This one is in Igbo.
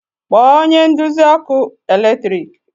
kpọọ onye nduzi ọkụ eletrik